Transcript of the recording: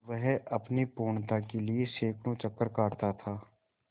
वह अपनी पूर्णता के लिए सैंकड़ों चक्कर काटता था